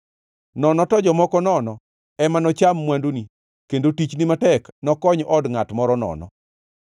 nono to jomoko nono, ema nocham mwanduni kendo tichni matek nokony od ngʼat moro nono.